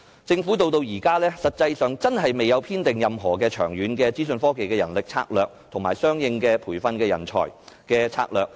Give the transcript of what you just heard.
政府至今實際上未有制訂任何長遠的資訊科技人力資源策略，以及相應的培訓人才策略。